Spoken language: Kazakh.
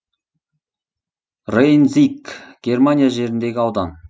рейн зиг германия жеріндегі аудан